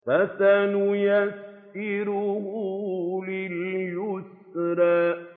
فَسَنُيَسِّرُهُ لِلْيُسْرَىٰ